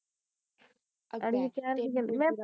ਅੜੀਏ ਕਹਿਣ ਦੀਆ ਗੱਲਾਂ ਮੈ